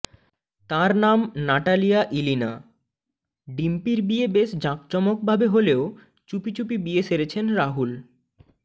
তাঁর নাম Natalia Ilina ডিম্পির বিয়ে বেশ জাঁকজমক ভাবে হলেও চুপিচুপি বিয়ে সেরেছেন রাহুল